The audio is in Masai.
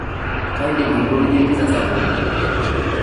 kaidim aipotunye Pizza sapuk